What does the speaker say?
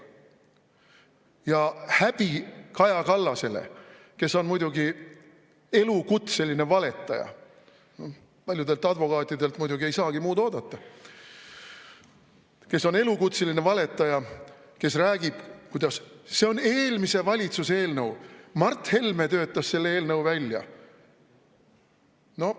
Ja häbi Kaja Kallasele, kes on muidugi elukutseline valetaja – paljudelt advokaatidelt muidugi ei saagi muud oodata –, kes on elukutseline valetaja, kes räägib, kuidas see on eelmise valitsuse eelnõu, Mart Helme töötas selle eelnõu välja.